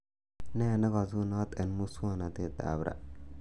nee nekasunot eng muswonotetab ra